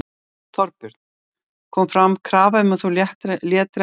Þorbjörn: Kom fram krafa um að þú létir af embætti?